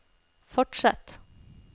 fortsett